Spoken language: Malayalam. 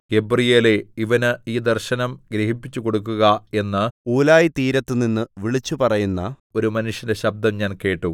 ഗബ്രീയേലേ ഇവന് ഈ ദർശനം ഗ്രഹിപ്പിച്ചുകൊടുക്കുക എന്ന് ഊലായിതീരത്തുനിന്ന് വിളിച്ചുപറയുന്ന ഒരു മനുഷ്യന്റെ ശബ്ദം ഞാൻ കേട്ടു